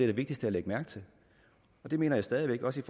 var vigtigst at lægge mærke til det mener jeg stadig væk også